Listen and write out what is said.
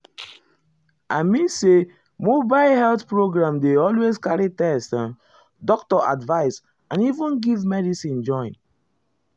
i mean say mobile health program dey always carry test um doctor advice and even give medicine join.